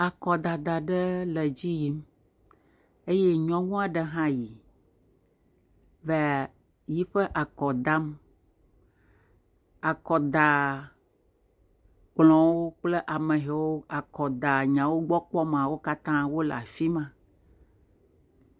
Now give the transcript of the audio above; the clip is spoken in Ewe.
akɔdada ɖe le dziyim eye nyɔŋuaɖe hã yi vae yiƒe akɔ dam akɔda kplɔ̃wó kple ameyowo kɔda nyawo gbɔ kpɔmaa wó katã wóle'fima